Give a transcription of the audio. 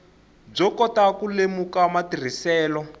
byo kota ku lemuka matirhiselo